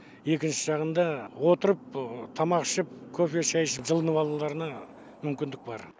екінші жағында отырып тамақ ішіп кофе шай ішіп жылынып алуларына мүмкіндік бар